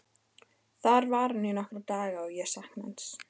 Þar var hann í nokkra daga og ég saknaði hans.